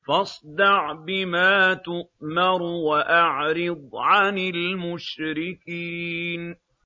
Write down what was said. فَاصْدَعْ بِمَا تُؤْمَرُ وَأَعْرِضْ عَنِ الْمُشْرِكِينَ